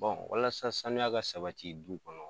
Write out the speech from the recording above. walasa sanuya ka sabati du kɔnɔ.